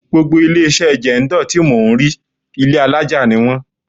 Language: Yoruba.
Gbogbo ilé-iṣẹ́ Jendol tí mò ń rí, ilé alaja ni wón.